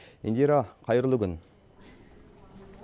индира қайырлы күн